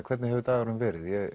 hvernig hefur dagurinn verið ég